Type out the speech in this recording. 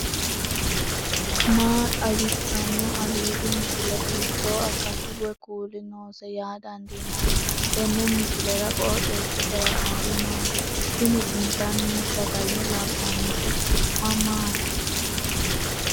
maa xawissanno aliidi misile ? hiitto akati woy kuuli noose yaa dandiinanni tenne misilera? qooxeessisera noori maati ? tini intanni sagale labbannoti su'ma maati